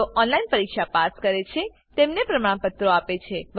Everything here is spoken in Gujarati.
જેઓ ઓનલાઈન પરીક્ષા પાસ કરે છે તેઓને પ્રમાણપત્રો આપે છે